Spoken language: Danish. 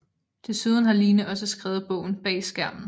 Desuden har Line også skrevet bogen Bag skærmen